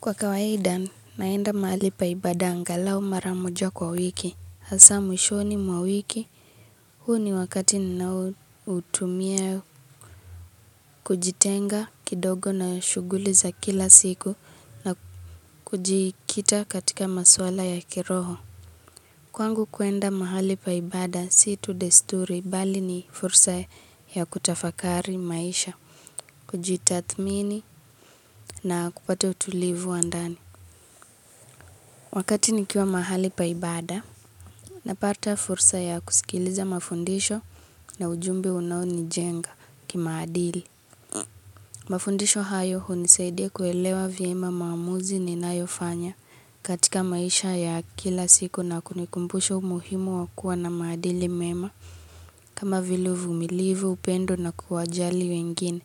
Kwa kawaida naenda mahali pa ibada angalau mara moja kwa wiki. Hasa mwishoni mwa wiki. Huu ni wakati ninaoutumia kujitenga kidogo na shughuli za kila siku na kujikita katika maswala ya kiroho. Kwangu kuenda mahali paibada situ desturi bali ni fursa ya kutafakari maisha. Kujitathmini na kupata utulivu wa ndani. Wakati nikiwa mahali paibada. Napata fursa ya kusikiliza mafundisho na ujumbe unawo nijenga kimaadili. Mafundisho hayo hunisaidia kuelewa vyema maamuzi ninayofanya katika maisha ya kila siku na kunikumbusha umuhimu wa kuwa na maadili mema. Kama vili uvumilivu, upendo na kuwajali wengine.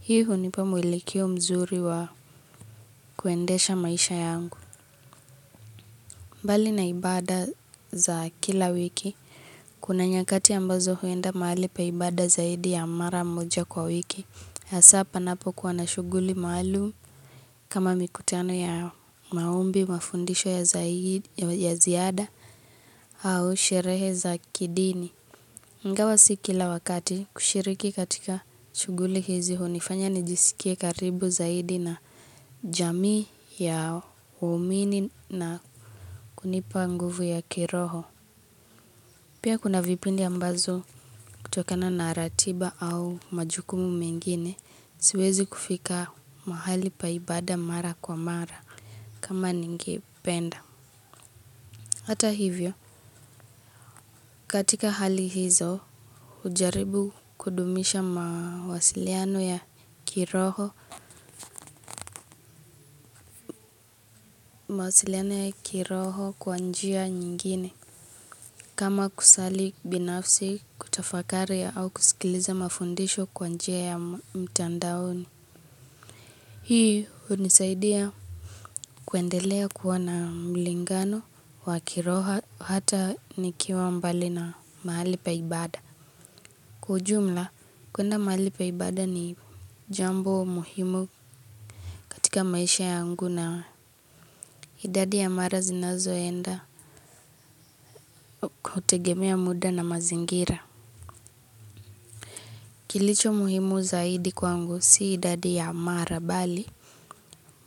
Hii hunipa mwelekeo mzuri wa kuendesha maisha yangu. Mbali na ibada za kila wiki, kuna nyakati ambazo huenda mahali paibada zaidi ya mara mmoja kwa wiki, hasa panapo kuwa na shughuli maalum kama mikutano ya maombi, mafundisho ya zaidi, ya ziada, au sherehe za kidini. Ingawa si kila wakati kushiriki katika shuguli hizi hunifanya nijisikie karibu zaidi na jamii ya waumini na kunipa nguvu ya kiroho. Pia kuna vipindi ambazo kutokana naratiba au majukumu mengine siwezi kufika mahali paibada mara kwa mara kama ningependa. Hata hivyo, katika hali hizo, hujaribu kudumisha mawasiliano ya kiroho, mawasiliano ya kiroho kwa njia nyingine, kama kusali binafsi kutafakari au kusikiliza mafundisho kwa njia ya mtandaoni. Hii hunisaidia kuendelea kuwa na mlingano wa kiroho hata nikiwa mbali na mahali paibada. Kwa ujumla, kuenda mahali pa ibada ni jambo muhimu katika maisha yangu na idadi ya mara zinazoenda kutegemea muda na mazingira. Kilicho muhimu zaidi kwangu si idadi ya mara bali.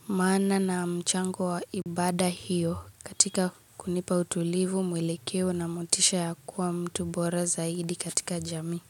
Maana na mchango wa ibada hiyo katika kunipa utulivu mwelekeo na motisha ya kuwa mtu bora zaidi katika jamii.